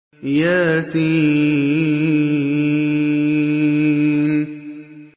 يس